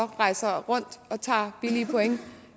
rejser rundt og tager billige point